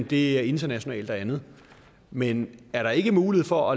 det er internationalt og andet men er der ikke mulighed for